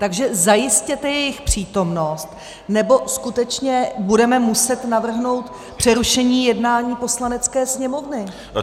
Takže zajistěte jejich přítomnost, nebo skutečně budeme muset navrhnout přerušení jednání Poslanecké sněmovny.